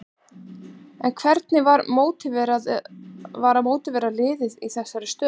En hvernig var að mótivera liðið í dag í þessari stöðu?